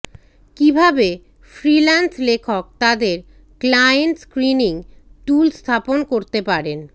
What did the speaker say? কিভাবে ফ্রিল্যান্স লেখক তাদের ক্লায়েন্ট স্ক্রীনিং টুল স্থাপন করতে পারেন